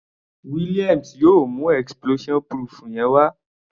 Williams yóò mú explosion proof yẹn wá.